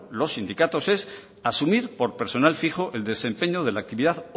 los sindicatos es asumir por personal fijo el desempeño de la actividad